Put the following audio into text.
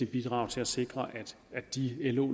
bidrag til at sikre at de lo